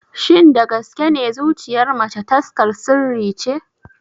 Shin da gaske ne zuciyar mace taskar sirri ce?